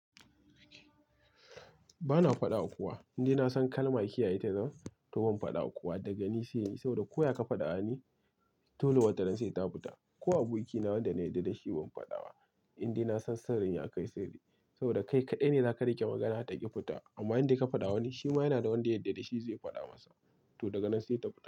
Ba na faɗa wa kowa, indai na san kalma kiyaye ta zan to ban faɗa wa kowa daga ni saini. Saboda ko ya ka faɗa wani dole wataran sai ta fita. Ko abokina wanda na yarda da shi ban faɗa ba. Indai na san sirrin ya kai sirri saboda kai kaɗai ne za ka riƙe magana ta ƙi fita. Amma in dai ka faɗawa wani shi ma yana da wanda ya yarda da shi zai faɗa masa to daga nan sai ta fita.